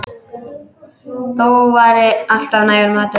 Þó var alltaf nægur matur.